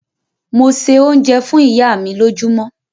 Mo se oúnjẹ fún ìyá mi lójúmọ́.